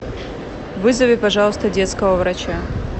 вызови пожалуйста детского врача